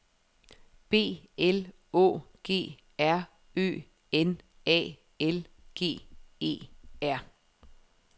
B L Å G R Ø N A L G E R